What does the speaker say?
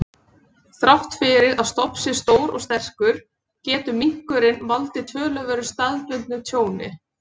Þrátt fyrir að stofn sé stór og sterkur, getur minkurinn valdið töluverðu staðbundnu tjóni.